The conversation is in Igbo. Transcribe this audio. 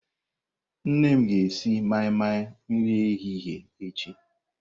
Nne m ga-esi mai-mai nri ehihie echi.